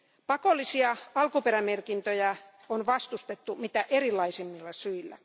Pakollisia alkuperämerkintöjä on vastustettu mitä erilaisimmilla syillä.